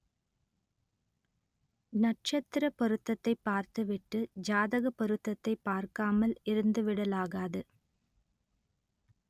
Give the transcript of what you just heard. நட்சத்திரப் பொருத்தத்தைப் பார்த்துவிட்டு ஜாதகப் பொருத்தத்தைப் பார்க்காமல் இருந்துவிடலாகாது